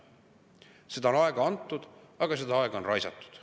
Seda aega on antud, aga seda aega on raisatud.